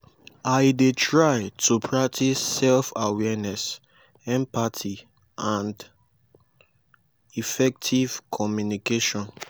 i dey try to practice self-awareness empathy and effective communication.